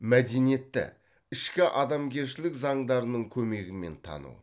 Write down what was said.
мәдениетті ішкі адамгершілік заңдарының көмегімен тану